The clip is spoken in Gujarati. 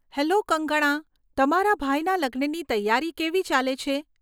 હેલો કંગકણા, તમારા ભાઈના લગ્નની તૈયારી કેવી ચાલે છે?